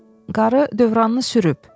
Qarı dövranını sürüb.